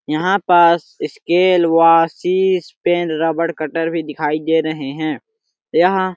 यहाँ पास स्केल व शीश पेन रबर कटर भी दिखाई दे रहे है यहाँ --